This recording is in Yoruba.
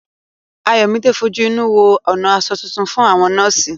Ayọ̀míde fojú inú wo ọ̀nà aṣọ tuntun fún àwọn nọ́ọ̀sì